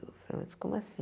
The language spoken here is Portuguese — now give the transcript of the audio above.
Eu falei, mas como assim?